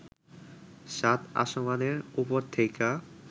সাত আসমানের ওপর থেইকা